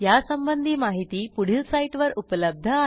यासंबंधी माहिती पुढील साईटवर उपलब्ध आहे